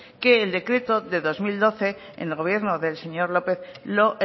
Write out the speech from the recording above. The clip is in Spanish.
que el decreto del dos mil doce en el gobierno del señor lópez lo